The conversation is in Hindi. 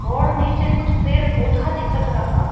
और नीचे कुछ पेड़ पौधा दिखत रहा--